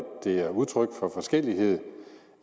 det er udtryk for forskellighed